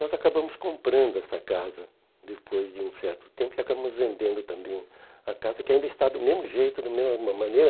Nós acabamos comprando essa casa depois de um certo tempo e acabamos vendendo também a casa, que ainda está do mesmo jeito, da mesma ma maneira.